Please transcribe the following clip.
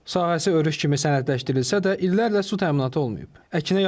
Sahəsi örüş kimi sənədləşdirilsə də illərlə su təminatı olmayıb.